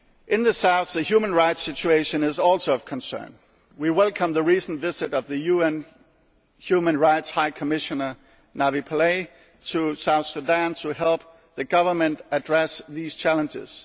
In the south, the human rights situation is also of concern. We welcome the recent visit of the UN Human Rights High Commissioner Navi Pillay to South Sudan to help the Government address these challenges.